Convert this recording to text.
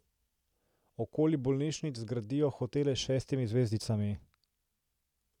Okoli bolnišnic zgradijo hotele s šestimi zvezdicami.